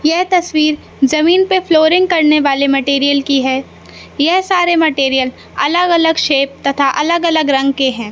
यह तस्वीर जमीन पे फ्लोरिंग करने वाले मटेरियल की है यह सारे मटेरियल अलग अलग शेप तथा अलग अलग रंग के हैं।